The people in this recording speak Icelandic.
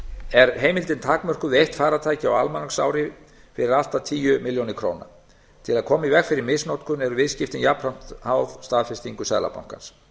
er heimildin takmörkuð við eitt farartæki á almanaksári fyrir allt að tíu milljónir króna til að koma í veg fyrir misnotkun eru viðskiptin jafnframt háð staðfestingu seðlabankans